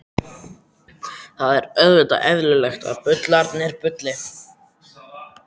Það er auðvitað eðlilegt að bullurnar bulli.